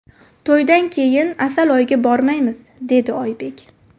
To‘ydan keyin asal oyiga bormaymiz”, deydi Oybek.